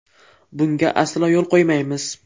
Bunga aslo yo‘l qo‘ymaymiz.